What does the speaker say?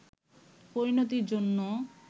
পরিণতির জন্য